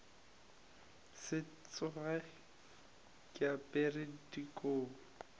se tsoge ke apere dikobo